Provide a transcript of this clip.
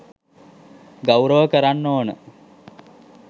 ගෞරව කරන්න ඕන.